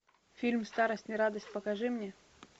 фильм старость не радость покажи мне